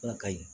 Ala ka ɲi